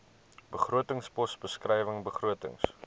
begrotingspos beskrywing begrotings